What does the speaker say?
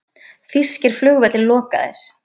Þýskir flugvellir lokaðir